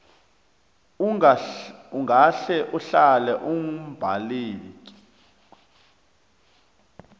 ungahle uhlale umbaleki